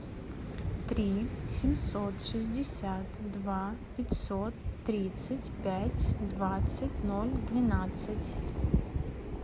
три семьсот шестьдесят два пятьсот тридцать пять двадцать ноль двенадцать